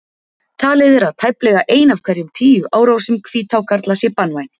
Talið er að tæplega ein af hverjum tíu árásum hvíthákarla sé banvæn.